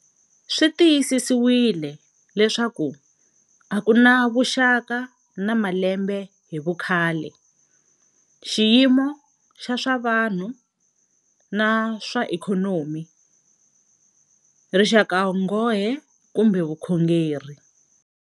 Swi tiyisisiwile leswaku a ku na vuxaka na malembe hi vukhale, xiyimo xa swa vanhu na swa ikhonomi, rixakanghohe kumbe vukhongeri.